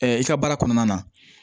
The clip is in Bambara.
i ka baara kɔnɔna na